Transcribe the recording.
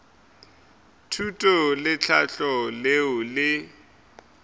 thuto le tlhahlo leo le